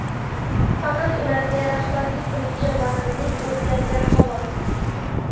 Faqat ularga rahbarlik qiluvchi vazirlik o‘zgargan, xolos.